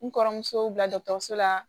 N kɔrɔmuso bila la